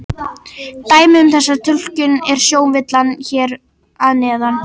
Dæmi um þessa túlkun er sjónvillan hér að neðan.